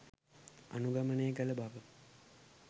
අනුගමනය කළ බව